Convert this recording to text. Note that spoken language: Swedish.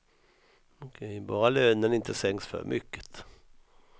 Bara lönen inte sänks för mycket.